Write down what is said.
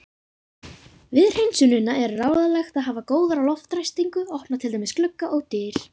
Við hreinsunina er ráðlegt að hafa góða loftræstingu, opna til dæmis glugga og dyr.